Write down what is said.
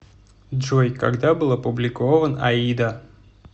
джой когда был опубликован аида